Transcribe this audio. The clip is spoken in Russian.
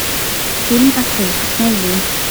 фильм отрыв найди